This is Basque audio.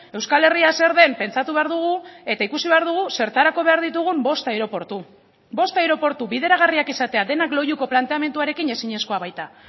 euskal herria zer den pentsatu behar dugu eta ikusi behar dugu zertarako behar ditugun bost aireportu bost aireportu bideragarriak izatea denak loiuko planteamenduarekin ezinezkoa baita